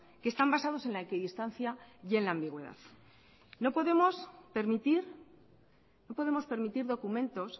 que están basados en la equidistancia y en la ambigüedad no podemos permitir documentos